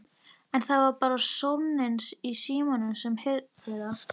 En það var bara sónninn í símanum sem heyrði það.